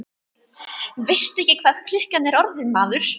Veistu ekki hvað klukkan er orðin, maður?